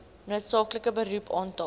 noodsaaklike beroep aantal